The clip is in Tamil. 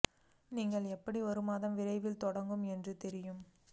நீங்கள் எப்படி ஒரு மாதம் விரைவில் தொடங்கும் என்று தெரியும்